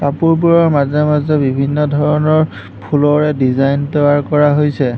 কাপোৰবোৰৰ মাজে-মাজে বিভিন্ন ধৰণৰ ফুলৰে ডিজাইন তৈয়াৰ কৰা হৈছে।